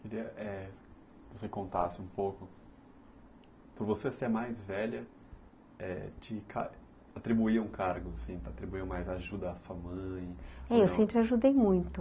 É, é, queria que você contasse um pouco... Por você ser mais velha, te atribuíam cargos, assim, te atribuíam mais ajuda à sua mãe... É, eu sempre ajudei muito.